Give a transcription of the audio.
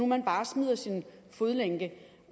man bare smider sin fodlænke